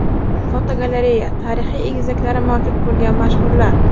Fotogalereya: Tarixiy egizaklari mavjud bo‘lgan mashhurlar.